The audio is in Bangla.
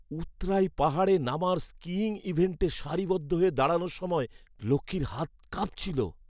উৎরাই পাহাড়ে নামার স্কিইং ইভেন্টে সারিবদ্ধ হয়ে দাঁড়ানোর সময় তো লক্ষ্মীর হাত কাঁপছিল!